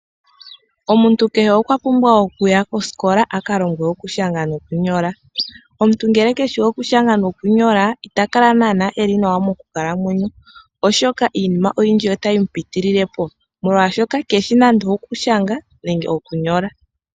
Omuntu kehe okwa pumbwa okuya kosikola aka longwe okulesha nokunyola. Omuntu ngele keshi okulesha nokunyola ita kala naana eli nawa moku kalamwenyo, oshoka iinima oyindji otayi mu pitililepo, molwaashoka keshi nande okulesha nenge okunyola.